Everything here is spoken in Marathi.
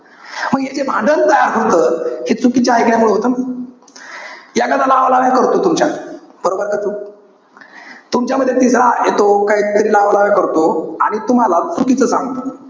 मी हे जे भांडण तयार होतं. हे चुकीचे एकल्यामुळे होत ना. एखादा लावालाव्या करतो तुमच्या. बरोबर का चूक? तुमच्यामध्ये तिसरा येतो, काहीतरी लावालाव्या करतो. आणि तुम्हाला चुकीचं सांगतो.